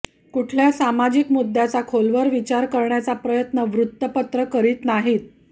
कुठल्याही सामाजिक मुद्दय़ाचा खोलवर विचार करण्याचा प्रयत्न वृत्तपत्र करीत नाहीत